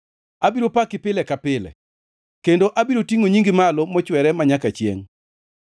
Abiro paki pile ka pile kendo abiro tingʼo nyingi malo mochwere manyaka chiengʼ.